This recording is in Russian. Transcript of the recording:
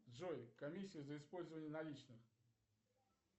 джой комиссия за использование наличных